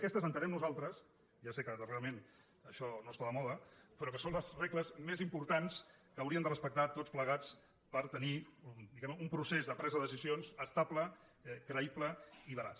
aquestes ho entenem nosaltres ja sé que darrerament això no està de moda però són les regles més importants que hauríem de respectar tots plegats per tenir diguem ne un procés de presa de decisions estable creï ble i veraç